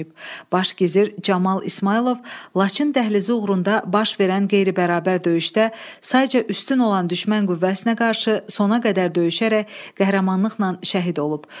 Baş gizir Camal İsmayılov Laçın dəhlizi uğrunda baş verən qeyri-bərabər döyüşdə sayca üstün olan düşmən qüvvəsinə qarşı sona qədər döyüşərək qəhrəmanlıqla şəhid olub.